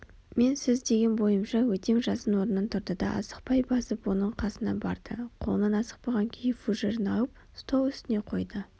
мен сіз деген бойымша өтем жасын орнынан тұрды да асықпай басып оның қасына барды қолынан асықпаған күйі фужерін алып стол үстіне қойды